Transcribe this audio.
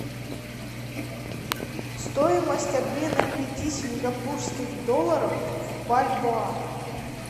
стоимость обмена пяти сингапурских долларов в бальбоа